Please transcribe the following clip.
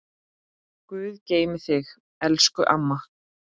Guð geymi þig, elsku amma.